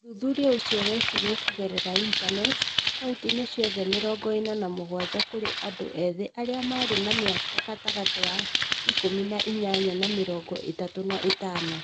ũthuthuria ũcio wekirũo kũgerera intaneti, kaũntĩ-inĩ ciothe mĩrongo ĩna na mũgwanja kũrĩ andũ ethĩ arĩa marĩ na mĩaka gatagatĩ ka ĩkũmi na inyanya na mĩrongo ĩthatũ na ĩtano.